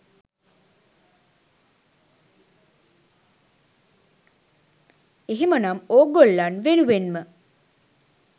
එහෙමනම් ඕගොල්ලන් වෙනුවෙන්ම